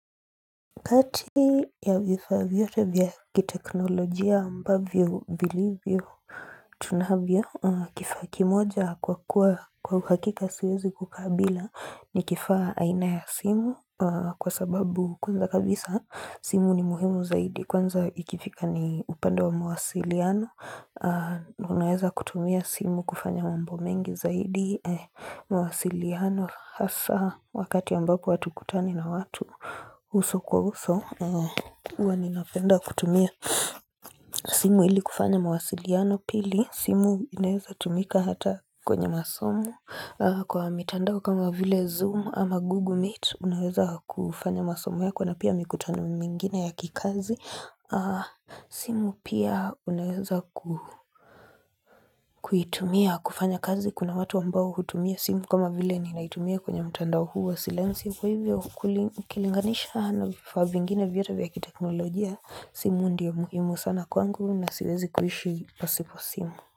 Kati ya vifaa yote vya kiteknolojia ambavyo vilivyo tunavyo kifaa kimoja kwa kwa hakika siwezi kukabila ni kifaa aina ya simu kwa sababu kwanza kabisa simu ni muhimu zaidi kwanza ikifika ni upande wa mawasiliano unaweza kutumia simu kufanya wambomengi zaidi mwaasiliano hasa wakati ambapo hatukutani na watu uso kwa uso uwa ninapenda kutumia simu ili kufanya mawasiliano pili simu inaweza tumika hata kwenye masomo kwa mitandao kama vile zoom ama google meet unaweza kufanya masomo ya kwa na pia mikutano mingine ya kikazi simu pia unaweza kuitumia kufanya kazi kuna watu ambao hutumia simu kama vile ni naitumia kwenye mtandao huwa silenzia kwa hivyo ukulikilinganisha anafafa vingine vyote vya kiteknolojia simu ndia muhimu sana kwangu na siwezi kuhishi possible simu.